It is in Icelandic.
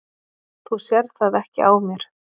Þú sérð það ekki á mér